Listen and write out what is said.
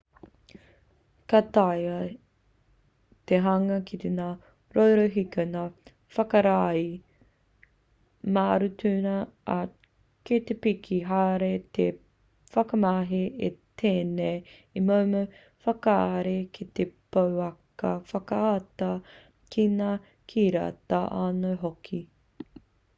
ka taea te hanga ki ngā rorohiko ngā whakaari marutuna ā kei te piki haere te whakamahi i tēnei momo whakaari ki te pouaka whakaata ki ngā kiriata anō hoki